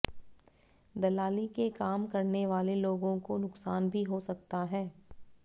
दलाली के काम करने वाले लोगों को नुकसान भी हो सकता है